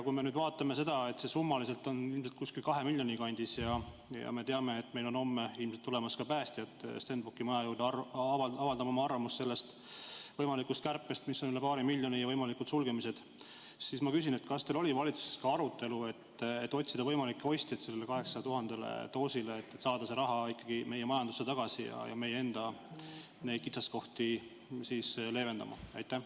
Kui arvestame seda, et see summa on ilmselt kusagil 2 miljoni euro kandis, ning teame, et homme on päästjad tulemas Stenbocki maja juurde avaldama arvamust võimaliku kärpe kohta, mis on üle paari miljoni, ja võimalike sulgemiste kohta, siis ma küsin nii: kas teil oli valitsuses arutelu, et otsida võimalikke ostjaid sellele 800 000 doosile, et saada see raha meie majandusse tagasi meie enda kitsaskohti leevendama?